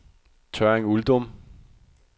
Tørring-Uldum